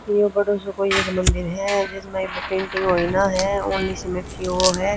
यो बड़ो सो कोई एक मंदिर ह जिसमह इब्बे पेंटिंग होई ना ह ऑनली सीमेंट की यो ह।